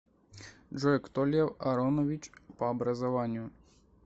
джой кто лев аронович по образованию